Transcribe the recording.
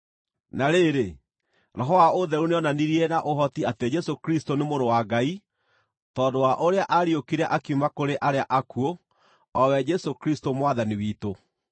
Na rĩrĩ, Roho wa ũtheru nĩonanirie na ũhoti atĩ Jesũ Kristũ nĩ Mũrũ wa Ngai tondũ wa ũrĩa aariũkire akiuma kũrĩ arĩa akuũ: o we Jesũ Kristũ Mwathani witũ.